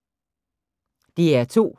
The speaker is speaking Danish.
DR2